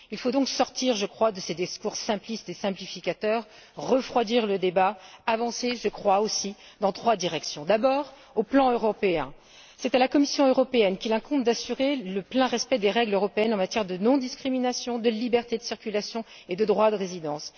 Il faut sortir, je crois, de ces discours simplistes et simplificateurs, refroidir le débat et avancer, je crois aussi, dans trois directions D'abord sur le plan européen, c'est à la Commission qu'il incombe d'assurer le plein respect des règles européennes en matière de non discrimination, de liberté de circulation et de droit de résidence.